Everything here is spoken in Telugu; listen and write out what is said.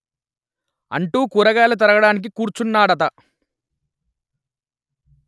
అంటూ కూరగాయలు తరగడానికి కూర్చున్నదట